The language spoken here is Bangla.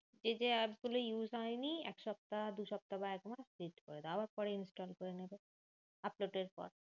যে যে app গুলো use হয়নি, এক সপ্তাহ, দু-সপ্তাহ বা এক মাস delete করে দাও। আবার পরে install করে নেবে